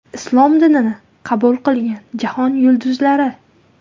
Islom dinini qabul qilgan jahon yulduzlari !